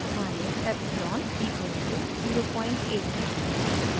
मानिये epsilon equals to 0897